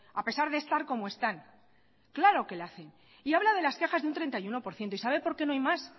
a pesar de estar como están claro que la hacen y habla de las quejas de un treinta y uno por ciento y sabe por qué no hay más